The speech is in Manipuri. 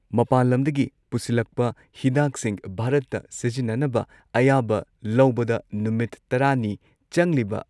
ꯃꯄꯥꯟ ꯂꯝꯗꯒꯤ ꯄꯨꯁꯤꯜꯂꯛꯄ ꯍꯤꯗꯥꯛꯁꯤꯡ ꯚꯥꯔꯠꯇ ꯁꯤꯖꯤꯟꯅꯅꯕ ꯑꯌꯥꯕ ꯂꯧꯕꯗ ꯅꯨꯃꯤꯠ ꯇꯔꯥ ꯅꯤ ꯆꯪꯂꯤꯕ